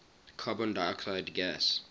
carbon dioxide gas